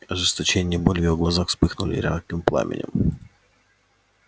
ожесточение и боль в её глазах вспыхнули ярким пламенем